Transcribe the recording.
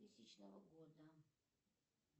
тысячного года